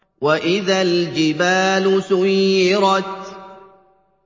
وَإِذَا الْجِبَالُ سُيِّرَتْ